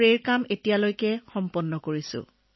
sir এতিয়ালৈকে আমি ৩৫ একৰ ভূমিত স্প্ৰে কৰিছো